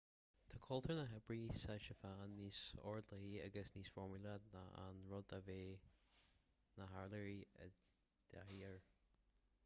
tá cultúr na hoibre sa tseapáin níos ordlathaí agus níos foirmiúla ná an rud a bheadh na hiartharaigh i dtaithí air